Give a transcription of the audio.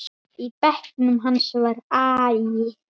Í bekknum hans var agi.